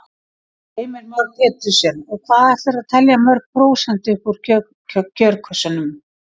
Heimir Már Pétursson: Og hvað ætlarðu að telja mörg prósent upp úr kjörkössunum?